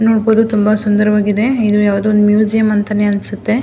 ನೋಡಬಹುದು ತುಂಬ ಸುಂದರವಾಗಿದೆ ಇದು ಯಾವುದೊ ಒಂದು ಮ್ಯೂಸಿಯಂ ಅಂತನೇ ಅನ್ಸುತ್ತೆ.